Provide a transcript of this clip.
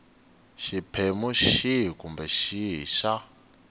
xiphemu xihi kumbe xihi xa